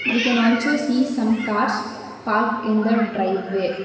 we can also see some cars park in the drive way.